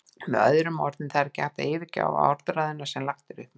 Með öðrum orðum, það er ekki hægt að yfirgefa orðræðuna sem lagt er upp með.